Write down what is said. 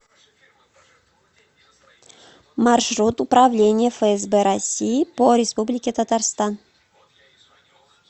маршрут управление фсб россии по республике татарстан